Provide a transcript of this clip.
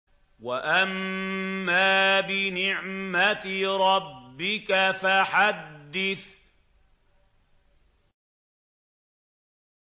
وَأَمَّا بِنِعْمَةِ رَبِّكَ فَحَدِّثْ